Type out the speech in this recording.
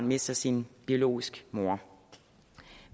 mister sin biologiske mor